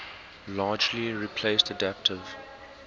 largely replaced adaptive